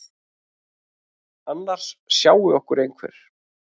Annars sjái okkur einhver.